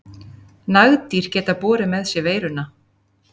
Nagdýr geta borið með sér veiruna.